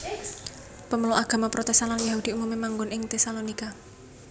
Pemeluk agama Protestan lan Yahudi umumé manggon ing Tesalonika